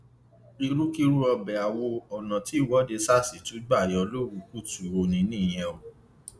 ìrúkìrú ọbẹ awọ ọnà tí ìwọde sars tún gbà yọ lówù kùtù ọnì nìyẹn o